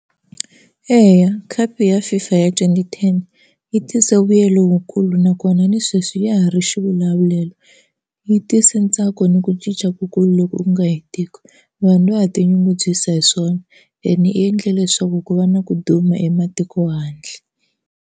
Eya khapu ya FIFA ya twenty ten yi tise vuyelo wukulu nakona ni sweswi ya ha ri xivulavulelo, yi tise ntsako ni ku cinca kukulu loko ku nga hetiki. Vanhu va ha ti nyungubyisa hi swona ene yi endle leswaku ku va na ku duma ematiko handle.